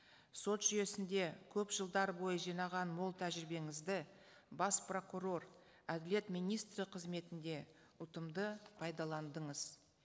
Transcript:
сот жүйесінде көп жылдар бойы жинаған мол тәжірибеңізді бас прокурор әділет министрі қызметінде ұтымды пайдаландыңыз